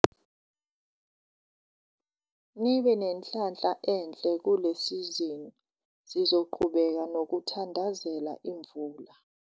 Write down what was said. Nibe nenhlanhla enhle kule sizini - sizoqhubeka nokuthandazela imvula!